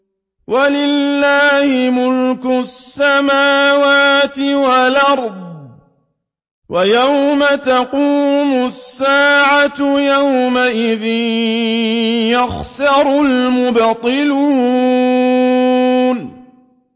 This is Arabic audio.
وَلِلَّهِ مُلْكُ السَّمَاوَاتِ وَالْأَرْضِ ۚ وَيَوْمَ تَقُومُ السَّاعَةُ يَوْمَئِذٍ يَخْسَرُ الْمُبْطِلُونَ